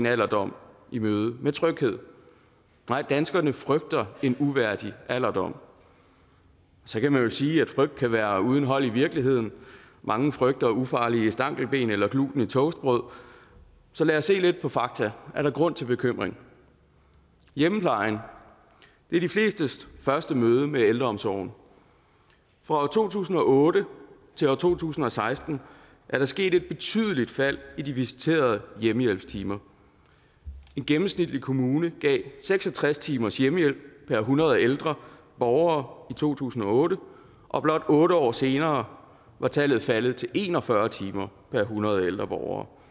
alderdom i møde med tryghed nej danskerne frygter en uværdig alderdom så kan man jo sige at frygt kan være uden hold i virkeligheden mange frygter ufarlige stankelben eller gluten i toastbrød så lad os se lidt på fakta er der grund til bekymring hjemmeplejen er de flestes første møde med ældreomsorgen fra to tusind og otte til to tusind og seksten er der sket et betydeligt fald i de visiterede hjemmehjælpstimer en gennemsnitlig kommune gav seks og tres timers hjemmehjælp per hundrede ældre borgere i to tusind og otte og blot otte år senere var tallet faldet til en og fyrre timer per hundrede ældre borgere